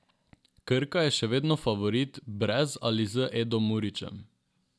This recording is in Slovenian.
Krka je še vedno favorit, brez ali z Edom Muričem.